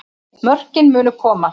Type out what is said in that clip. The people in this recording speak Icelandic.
Mörkin munu koma